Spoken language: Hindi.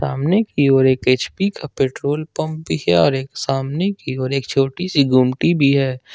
सामने की ओर एक एच_पी का पेट्रोल पंप भी है और एक सामने की ओर एक छोटी सी गुमटी भी है।